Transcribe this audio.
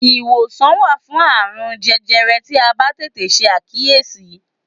Iwosan wa fun aarun jẹjẹrẹ ti a ba tete se akiyesi